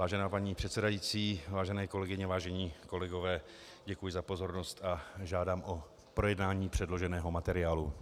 Vážená paní předsedající, vážené kolegyně, vážení kolegové, děkuji za pozornost a žádám o projednání předloženého materiálu.